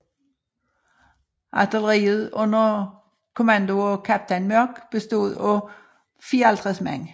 Artilleriet under kommandoer af kaptajn Mörck bestod af 54 man